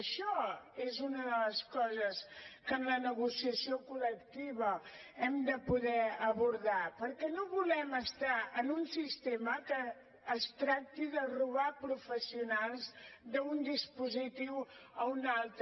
això és una de les coses que en la negociació col·lectiva hem de poder abordar perquè no volem estar en un sistema en què es tracti de robar professionals d’un dispositiu a un altre